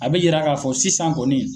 A be yira ka fɔ sisan kɔni